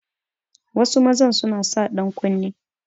Wasu maza suna sa dankunne